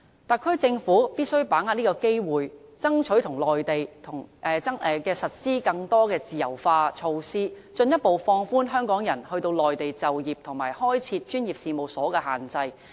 特區政府必須把握機會，爭取內地實施更多自由化措施，進一步放寬香港人到內地就業及開設專業事務所的限制。